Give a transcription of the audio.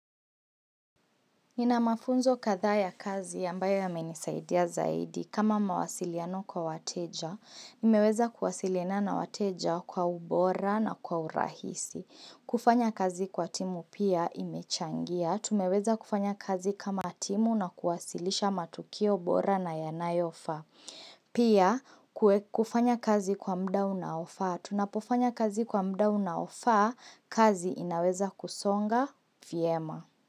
Nina mafunzo kadha ya kazi ambayo yamenisaidia zaidi kama mawasiliano kwa wateja, nimeweza kuwasiliana na wateja kwa ubora na kwa urahisi. Kufanya kazi kwa timu pia imechangia, tumeweza kufanya kazi kama timu na kuwasilisha matukio bora na yanayofaa. Pia kufanya kazi kwa muda unaofaa, tunapofanya kazi kwa muda unaofaa, kazi inaweza kusonga vyema.